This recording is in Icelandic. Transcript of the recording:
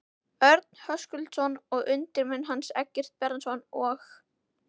Örn Höskuldsson og undirmenn hans, Eggert Bjarnason og